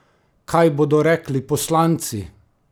Kaj bodo rekli poslanci?